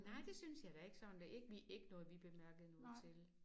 Nej det synes jeg da ikke sådan da ikke vi ikke noget vi bemærkede noget til